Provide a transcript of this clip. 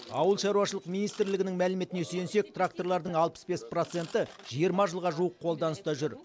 ауыл шаруашылық министрлігінің мәліметіне сүйенсек тракторлардың алпыс бес проценті жиырма жылға жуық қолданыста жүр